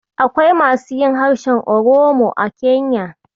Akwai masu yin harshen Oromo a Kenya.